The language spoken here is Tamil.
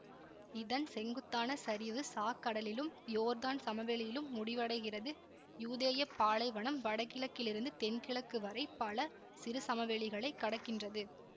இதன் செங்குத்தான சரிவு சாக்கடலிலும் யோர்தான் சமவெளியிலும் முடிவடைகிறது யூதேய பாலைவனம் வடகிழக்கிலிருந்து தென்கிழக்கு வரை பல சிறு சமவெளிகளைக் கடக்கின்றது